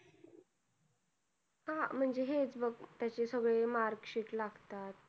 अं म्हणजे हेच बघ त्याचे सगळे mark sheet लागतात